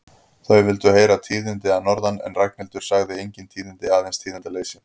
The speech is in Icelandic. Þau vildu heyra tíðindi að norðan en Ragnhildur sagði engin tíðindi, aðeins tíðindaleysi.